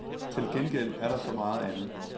Til gengæld er der så meget andet.